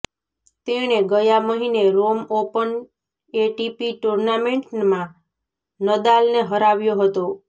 તેણે ગયા મહિને રોમ ઓપન એટીપી ટૂર્નામેન્ટમાં નદાલને હરાવ્યો હતો